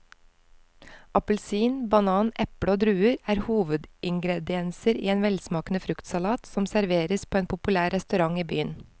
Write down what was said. Appelsin, banan, eple og druer er hovedingredienser i en velsmakende fruktsalat som serveres på en populær restaurant i byen.